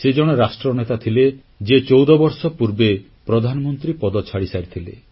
ସେ ଜଣେ ରାଷ୍ଟ୍ରନେତା ଥିଲେ ଯିଏ 14 ବର୍ଷ ପୂର୍ବେ ପ୍ରଧାନମନ୍ତ୍ରୀ ପଦ ଛାଡ଼ିସାରିଥିଲେ